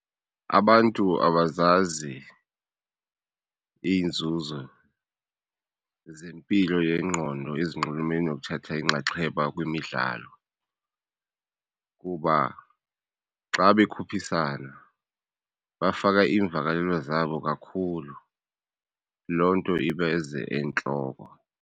Abantu abazazi iinzuzo zempilo yengqondo ezinxulumene nokuthatha inxaxheba kwimidlalo kuba xa bekhuphisana bafaka iimvakalelo zabo kakhulu, loo nto ibeze entloko.